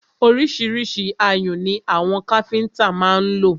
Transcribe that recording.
Ọríṣiríṣi ayùn ni àwọn káfíńńtà má ń lò.